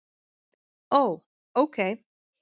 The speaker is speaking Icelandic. Ó. ókei